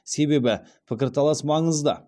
себебі пікірталас маңызды